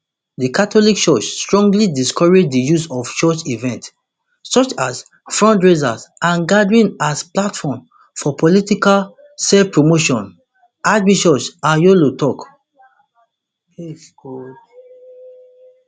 di catholic church strongly discourage di use of church events such as fundraisers and gatherings as platforms for political selfpromotion archbishop anyolo tok